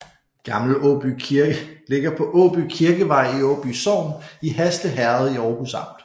Gammel Åby Kirke ligger på Åby Kirkevej i Åby sogn i Hasle Herred i Århus Amt